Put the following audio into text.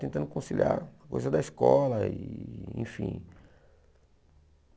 Tentando conciliar a coisa da escola, enfim.